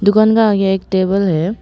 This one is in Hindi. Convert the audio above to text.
दुकान का आगे एक टेबल है।